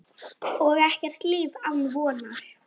Og ekkert líf án vonar.